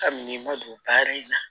Kabini ma don baara in na